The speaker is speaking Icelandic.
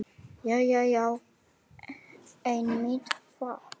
Jæja já, einmitt það.